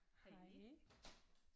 Hej